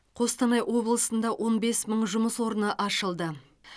қостанай облысында он бес мың жұмыс орны ашылды